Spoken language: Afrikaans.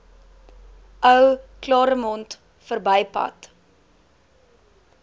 ou claremont verbypad